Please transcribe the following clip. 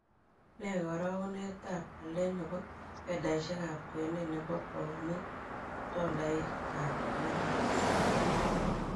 Ne karogunetap walet ne po fedhaisiekap kwenet ne po pounit ak tolaiitap amerika